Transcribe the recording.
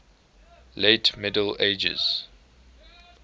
late middle ages